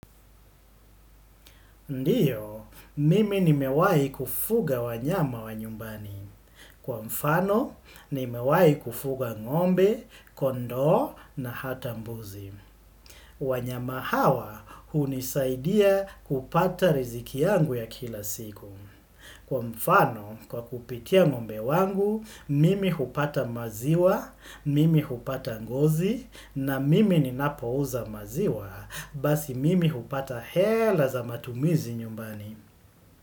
Ndiyo, mimi nimewai kufuga wanyama wa nyumbani. Kwa mfano, nimewai kufuga ngombe, kondao na hata mbuzi. Wanyama hawa, hunisaidia kupata riziki yangu ya kila siku. Kwa mfano, kwa kupitia ngombe wangu, mimi hupata maziwa, mimi hupata ngozi, na mimi ninapouza maziwa, basi mimi hupata hela za matumizi nyumbani.